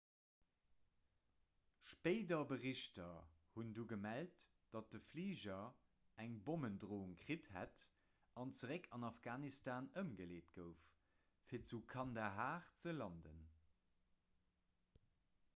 spéider berichter hunn du gemellt datt de fliger eng bommendroung kritt hätt an zeréck an afghanistan ëmgeleet gouf fir zu kandahar ze landen